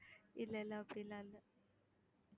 இல்லை, இல்லை அப்படி எல்லாம் இல்லை